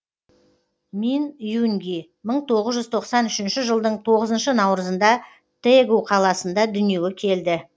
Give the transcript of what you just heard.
мин юнги мың тоғыз жүз тоқсан үшінші жылдың тоғызыншы наурызында тэгу қаласында дүниеге келді